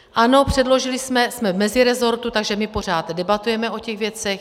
Ano, předložili jsme, jsme v meziresortu, takže my pořád debatujeme o těch věcech.